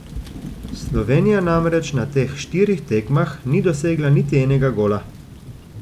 Slovenija namreč na teh štirih tekmah ni dosegla niti enega gola.